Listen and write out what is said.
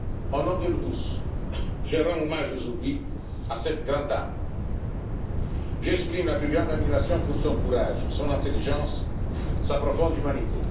l'homme. Au nom de nous tous, je rends hommage aujourd'hui à cette grande dame. J'exprime la plus grande admiration pour son courage, son intelligence et sa profonde